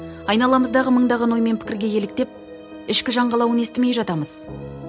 айналамыздағы мыңдаған ой мен пікірге еліктеп ішкі жан қалауын естімей жатамыз